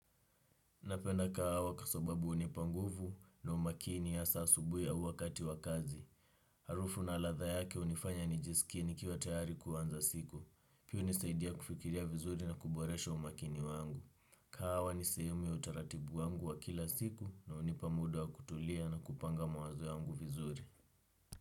Napenda kahawa kwasababu hunipa nguvu na umakini hasaa asubuhi au wakati wa kazi. Harufu na latha yake hunifanya nijisikie nikiwa tayari kuanza siku. Pia hunisaidia kufikiria vizuri na kuboresha umakini wangu. Kahawa ni sahemu ya utaratibu wangu wa kila siku na unipa muda wa kutulia na kupanga mawazo yangu vizuri.